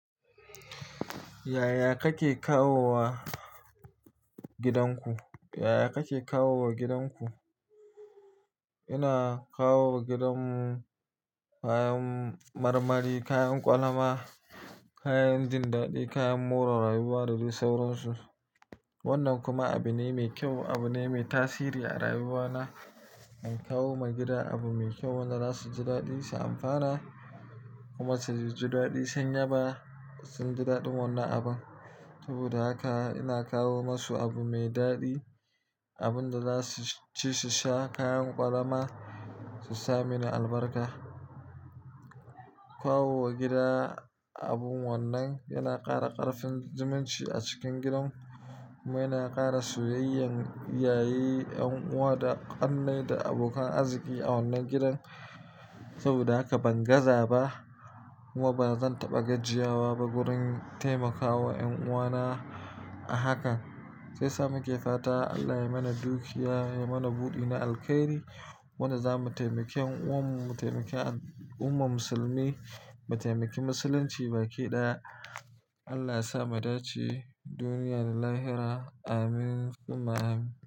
Yaya kake kawo wa gidan ku? Yaya kake kawo wa gidan ku? Ina kawo wa gidan mu kayan marmari, kayan ƙwalama, kayan jin daɗi, kayan more rayuwa da dai sauransu. Wannan kuma abune mai kyau, abune mai tasiri a rayuwana. In kawo ma gida abu mai kyau, wannan za su ji daɗi, su amfana kuma su ji daɗi sun yaba, sun ji daɗin wannan abun. Saboda haka ina kawo masu abu mai daɗi, abun da za su ci, su sha, kayan ƙwalama, su sa mini albarka. Kawo wa gida abun wannan yana ƙara ƙarfin zumunci a cikin gidan. Kuma yana ƙara soyayyan iyaye ƴan uwa da ƙanne da abokan arziki a wannan gidan saboda haka ban gaza ba kuma bazan taɓa gajiyawa ba wurin taimakawa ƴan uwa na a hakan. Shiyasa muke fata Allah ya mana dukiya ya mana budi na alkhairi wanda zamu taimaki ƴan uwanmu mu taimaki al'ummar musulmi mu taimaki musulunci baki daya Allah yasa mu dace duniya da lahira. Amin summa Amin.